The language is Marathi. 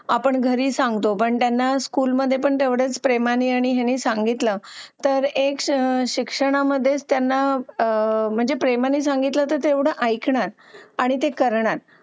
आपण घरी सांगतो पण त्यांना स्कूलमध्ये पण तेवढेच प्रेमाने आणि यांनी सांगितलं तर एक शिक्षणामध्ये त्यांना म्हणजे प्रेमाने सांगितलं तर तेवढं ऐकण्यात आणि करण्यात